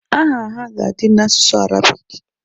Aha ha ga-adị n'asụsụ Arabik